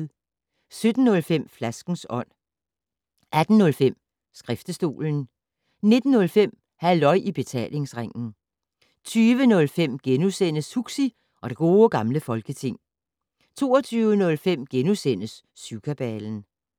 17:05: Flaskens Ånd 18:05: Skriftestolen 19:05: Halløj i Betalingsringen 20:05: Huxi og det Gode Gamle Folketing * 22:05: Syvkabalen *